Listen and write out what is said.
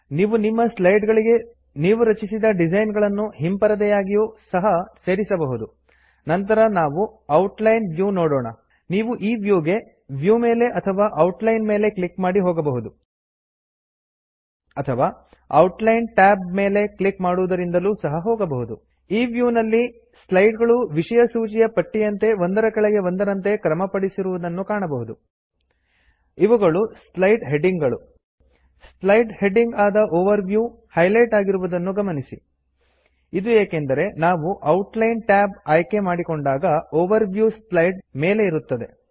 ನೀವು ನಿಮ್ಮ ಸ್ಲೈಡ್ ಗಳಿಗೆ ನೀವು ರಚಿಸಿದ ಡಿಸೈನ್ ಗಳನ್ನು ಹಿಂಪರದೆಯಾಗಿಯೂ ಸಹ ಸೇರಿಸಬಹುದು ನಂತರ ನಾವು ಔಟ್ ಲೈನ್ ವ್ಯೂ ನೋಡೋಣ ನೀವು ಈ ವ್ಯೂ ಗೆ ವ್ಯೂ ಮೇಲೆ ಅಥವಾ ಔಟ್ಲೈನ್ ಮೇಲೆ ಕ್ಲಿಕ್ ಮಾಡಿ ಹೋಗಬಹುದು ಅಥವಾ ಔಟ್ಲೈನ್ ಟ್ಯಾಬ್ ಮೆಲೆ ಕ್ಲಿಕ್ ಮಾಡುವದರಿಂದಲೂ ಸಹ ಹೋಗಬಹುದು ಈ ವ್ಯೂನಲ್ಲಿ ಸ್ಲೈಡ್ ಗಳು ವಿಷಯ ಸೂಚಿಯ ಪಟ್ಟಿಯಂತೆ ಒಂದರ ಕೆಳಗೆ ಒಂದರಂತೆ ಕ್ರಮಪಡಿಸಿರುವುದನ್ನು ಕಾಣಬಹುದು ಇವುಗಳು ಸ್ಲೈಡ್ ಹೆಡ್ಡಿಂಗ್ ಗಳು ಸ್ಲೈಡ್ ಹೆಡ್ಡಿಂಗ್ ಆದ ಓವರ್ ವ್ಯೂ ಹೈಲೈಟ್ ಆಗಿರುವುದನ್ನು ಗಮನಿಸಿ ಇದು ಏಕೆಂದರೆ ನಾವು ಔಟ್ ಲೈನ್ ಟ್ಯಾಬ್ ಆಯ್ಕೆ ಮಾಡಿಕೊಂಡಾಗ ಓವರ್ ವ್ಯೂ ಸ್ಲೈಡ್ ಮೇಲೆ ಇರುತ್ತದೆ